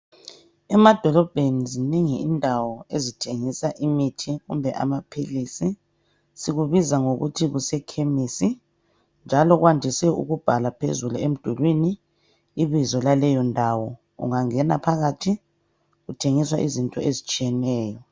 Emadolobheni zinengi indawo ezithengisa imithi kumbe amaphilisi. Sikubiza ngokuthi kusekemisi njalo kwandise ukubhala phezulu emdulwini ibizo laleyo ndawo .Ungangena phakathi kuthengiswa izinto ezitshiyeneyo.